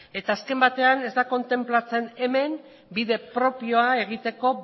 ez eta asken batean ez da kontenplatzen hemen bide propioa egiteko